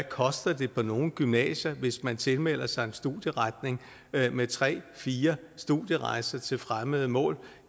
koster på nogle gymnasier hvis man tilmelder sig en studieretning med tre fire studierejser til fremmede mål